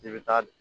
I bɛ taa